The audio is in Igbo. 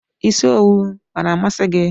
Isi owu ọ na amasi gị?